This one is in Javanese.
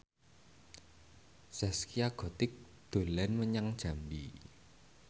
Zaskia Gotik dolan menyang Jambi